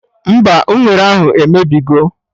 Mba, unere ahụ emebigo